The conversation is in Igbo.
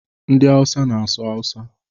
Ndị awusa na-asụ awusa.